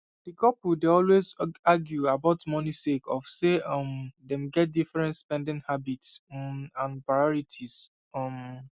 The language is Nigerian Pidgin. di couple dey always argue about money sake of say um dem get different spending habits um and priorities um